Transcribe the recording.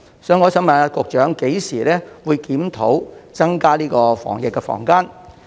所以，我想問局長，何時會檢討增加防疫的房間數量？